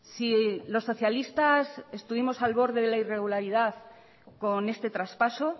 si los socialistas estuvimos al borde de la irregularidad con este traspaso